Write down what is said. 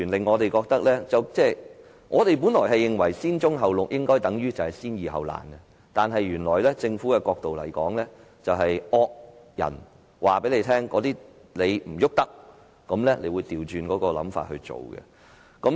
我們本來認為先棕後綠應該是先易後難，原來從政府的角度來看，因為有惡人說不能動用棕地，政府便採取相反的做法。